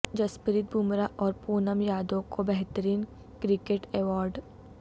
جسپریت بمراہ اور پونم یادو کو بہترین کرکٹر ایوارڈ